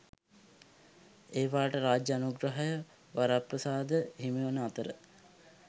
ඒවාට රාජ්‍ය අනුග්‍රහය වරප්‍රසාද හිමිවන අතර